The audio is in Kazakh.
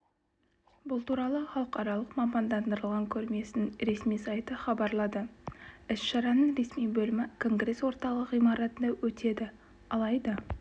бұл туралы халықаралық мамандандырылған көрмесінің ресми сайты хабарлады іс-шараның ресми бөлімі конгресс орталығы ғимаратында өтеді алайда